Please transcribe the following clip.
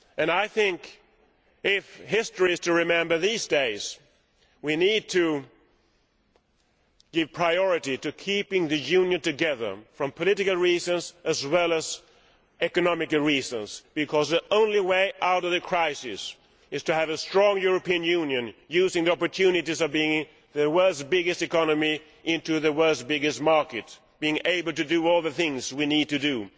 I think that, if history is to remember these days, we need to give priority to keeping the Union together, for political as well as economic reasons, because the only way out of the crisis is to have a strong European Union, using the opportunities of being the world's biggest economy and the world's biggest market, and being able to do all the things we need to do.